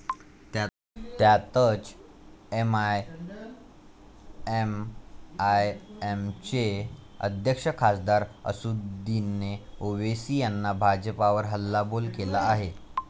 त्यातच, एआयएमआयएमचे अध्यक्ष खासदार असदुद्दीन ओवेसी यांनी भाजपावर हल्लाबोल केला आहे.